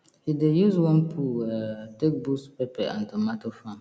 he dey use worm poo um take boost pepper and tomato farm